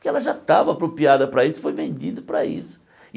porque ela já estava apropriada para isso e foi vendida para isso.